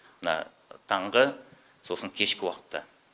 мына таңғы сосын кешкі уақытта